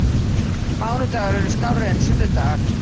Mánudagar eru skárri en sunnudagar.